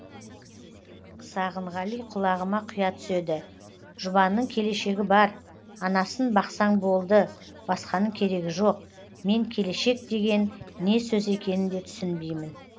сағынғали құлағыма құя түседі жұбанның келешегі бар анасын бақсаң болды басқаның керегі жоқ мен келешек деген не сөз екенін де түсінбеймін